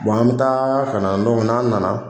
an bi taa ka na, n'an nana